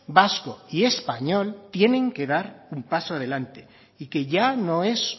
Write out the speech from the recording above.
vasco y español tienen que dar un paso adelante y que ya no es